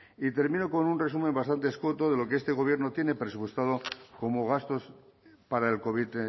y termino con un resumen bastante escueto de lo que este gobierno tiene presupuestado como gastos para el covid